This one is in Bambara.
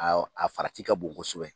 Awɔ, a farati ka bon kosɛbɛ.